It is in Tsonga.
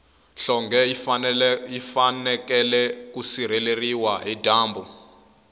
nhlonge yi fanekele ku sireleriwa hi dyambu